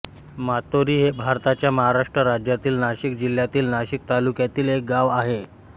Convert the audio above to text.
मातोरी हे भारताच्या महाराष्ट्र राज्यातील नाशिक जिल्ह्यातील नाशिक तालुक्यातील एक गाव आहे